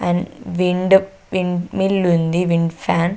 And wind windmill ఉంది. Wind fan .